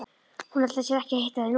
Hún ætlar sér ekki að hitta þig núna.